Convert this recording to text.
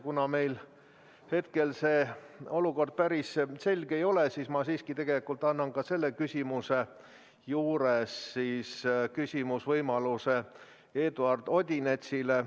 Kuna meil hetkel olukord päris selge ei ole, siis ma annan selle küsimuse puhul küsimisvõimaluse ka Eduard Odinetsile.